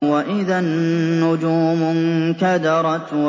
وَإِذَا النُّجُومُ انكَدَرَتْ